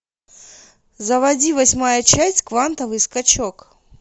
заводи восьмая часть квантовый скачок